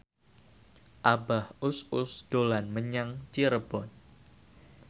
Abah Us Us dolan menyang Cirebon